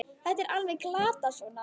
Þetta er alveg glatað svona!